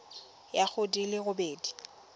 ya go di le robedi